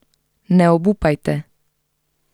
Ne obupajte!